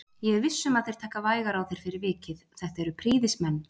Ég er viss um að þeir taka vægar á þér fyrir vikið, þetta eru prýðismenn